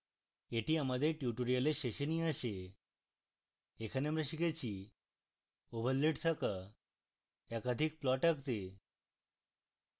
এটি আমাদের tutorial শেষে নিয়ে আসে এখানে আমরা শিখেছি